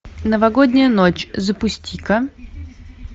новогодняя ночь запусти ка